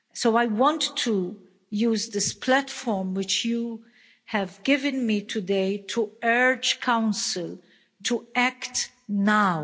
I want to use this platform which you have given me today to urge Council to act now.